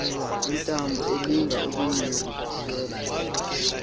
iintambo elinga ukuyirintyela